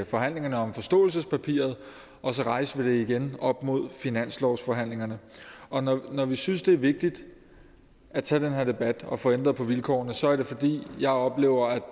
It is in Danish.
forhandlingerne om forståelsespapiret og så rejste vi det igen op mod finanslovsforhandlingerne og når vi synes det er vigtigt at tage den her debat og få ændret på vilkårene så er det fordi jeg oplever at